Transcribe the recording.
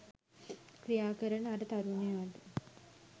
ක්‍රියාකරන අර තරුණයාට